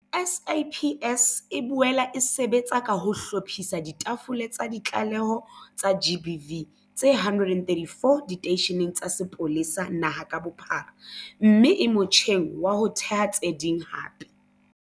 SAPS e boela e sebetsa ka ho hlophisa ditafole tsa ditlaleho tsa GBV tse 134 diteisheneng tsa sepolesa naha ka bophara mme e motjheng wa ho theha tse ding hape.